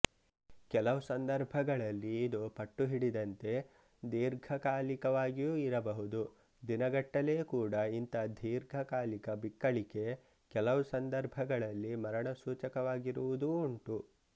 ಕೆಲವು ಸಂದರ್ಭಗಳಲ್ಲಿ ಇದು ಪಟ್ಟು ಹಿಡಿದಂತೆ ದೀರ್ಘಕಾಲಿಕವಾಗಿಯೂ ಇರಬಹುದು ದಿನಗಟ್ಟಲೆಕೂಡ ಇಂಥ ದೀರ್ಘಕಾಲಿಕ ಬಿಕ್ಕಳಿಕೆ ಕೆಲವು ಸಂದರ್ಭಗಳಲ್ಲಿ ಮರಣಸೂಚಕವಾಗಿರುವುದೂ ಉಂಟು